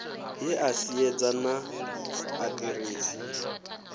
he a siedza naa aḓiresi